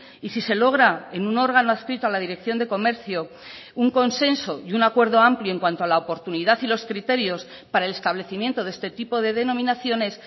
y si se logra en un órgano adscrito a la dirección de comercio un consenso y un acuerdo amplio en cuanto a la oportunidad y los criterios para el establecimiento de este tipo de denominaciones